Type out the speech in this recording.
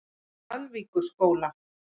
Dalvíkurskóla